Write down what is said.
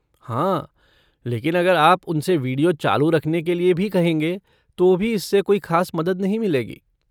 हाँ, लेकिन अगर आप उनसे वीडियो चालू रखने के लिए भी कहेंगे तो भी इससे कोई खास मदद नहीं मिलेगी।